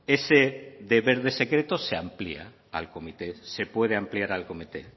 ese deber de secreto se amplía al comité se puede ampliar al comité